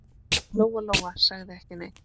Lóa-Lóa sagði ekki neitt.